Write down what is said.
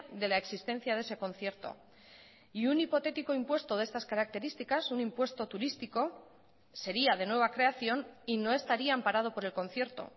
de la existencia de ese concierto y un hipotético impuesto de estas características un impuesto turístico sería de nueva creación y no estaría amparado por el concierto